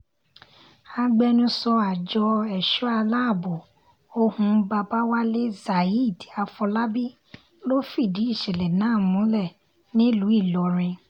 agbẹnusọ àjọ ẹ̀ṣọ́ aláàbọ̀ ohun babawalé zaid afòlábí ló fìdí ìṣẹ̀lẹ̀ náà múlẹ̀ nílùú ìlọrin